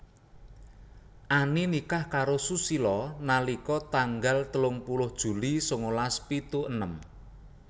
Ani nikah karo Susilo nalika tanggal telung puluh Juli sangalas pitu enem